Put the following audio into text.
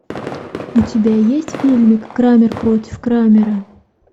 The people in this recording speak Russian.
у тебя есть фильм крамер против крамера